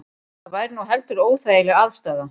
Það væri nú heldur óþægileg aðstaða